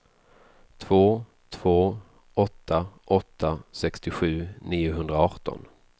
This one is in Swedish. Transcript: två två åtta åtta sextiosju niohundraarton